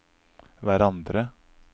hverandre